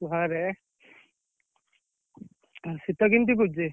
ଘରେ ଆଉ ଶୀତ କେମିତି ପଡିଛି?